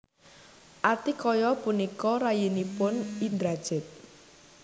Atikaya punika rayinipun Indrajit